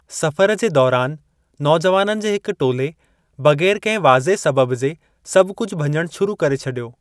सफ़रु जे दौरान, नौजवाननि जे हिकु टोले बग़ैर किन्हनि वाज़िअ सबबु जे सभु कुझु भञणु शुरू करे छडि॒यो ।